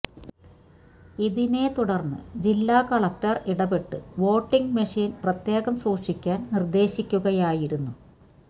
ഇതിനെതുടർന്ന് ജില്ലാ കളക്ടർ ഇടപെട്ട് voting machine പ്രത്യേകം സൂക്ഷിക്കാൻ നിർദ്ദേശിക്കുകയായിരുന്നു